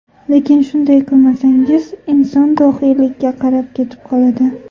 Lekin shunday qilmasangiz, inson dohiylikka qarab ketib qoladi.